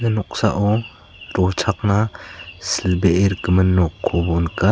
noksao rochakna silbee rikgimin nokko nika.